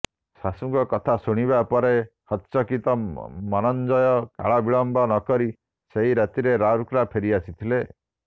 ଶାଶୁଙ୍କ କଥା ଶୁଣିବା ପରେ ହତ୍ଚକିତ ମନଞ୍ଜୟ କାଳବିଳମ୍ବ ନକରି ସେହି ରାତିରେ ରାଉରକେଲା ଫେରି ଆସିଥିଲେ